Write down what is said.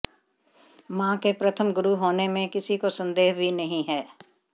मां के प्रथम गुरु होने में किसी को सन्देह भी नहीं है